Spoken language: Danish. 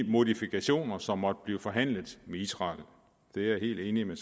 modifikationer som måtte blive forhandlet med israel det er jeg helt enig med